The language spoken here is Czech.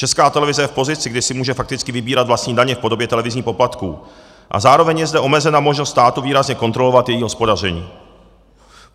Česká televize je v pozici, kdy si může fakticky vybírat vlastní daně v podobě televizních poplatků, a zároveň je zde omezena možnost státu výrazně kontrolovat její hospodaření.